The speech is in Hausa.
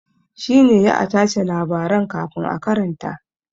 Shi ne ya a tace labaran kafin a karanta.